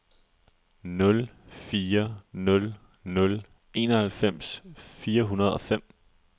nul fire nul nul enoghalvfems fire hundrede og fem